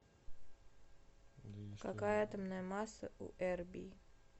какая атомная масса у эрбий